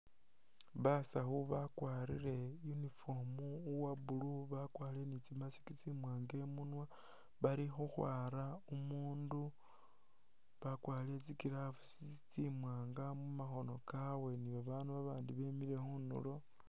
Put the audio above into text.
Basawu bakwarire uniform uwa blue bakwarire ni tsi mask tsimwaanga i'munwa bali khukhwara umuundu bakwarire tsi gloves tsimwaani mu makhono kabwe ni babaandu abandi bimile khunulo.